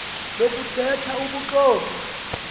lokuthe tha ubuxoki